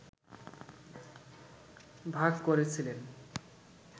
ভাগ করেছিলেন